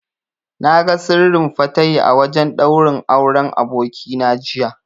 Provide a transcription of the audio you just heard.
Na ga Sirrin Fatahi a wajen ɗaurin Auren abokina jiya.